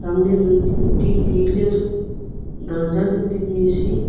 সামনে দুটি একটি গ্রীলের দরজা দেখতে পেয়েসি ।